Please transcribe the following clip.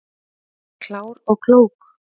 Klár og klók